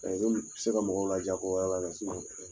Ka kɛ komi, i be se ka mɔgɔw la diya ko wɛrɛ la mɛ